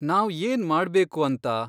ನಾವ್ ಏನ್ ಮಾಡ್ಬೇಕು ಅಂತ?